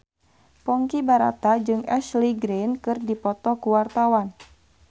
Ponky Brata jeung Ashley Greene keur dipoto ku wartawan